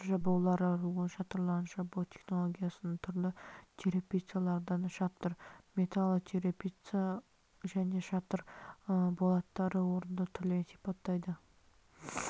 шатыр жабулары рулон шатырларын жабу технологиясын түрлі черепицалардан шатыр металлоочерепица және шатыр болаттары орындау түрлерін сипаттайды